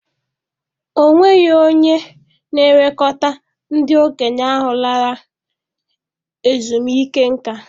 Ọ nweghị onye na-elekọta ndị okenye ahụ lara ezumike nká.